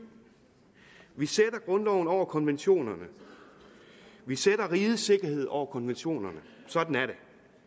vi sætter grundloven over konventionerne vi sætter rigets sikkerhed over konventionerne sådan er det